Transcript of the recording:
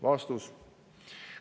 " Vastus.